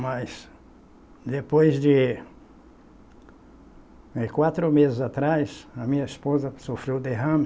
Mas, depois de. Quatro meses atrás, a minha esposa sofreu derrame.